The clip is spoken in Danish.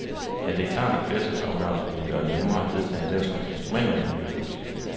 Ja, det er klart, at flertalsafgørelser ville gøre det nemmere at vedtage den slags instrumenter i miljøpolitikken.